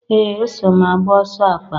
Ee! Eso m agba ọsọ akpa.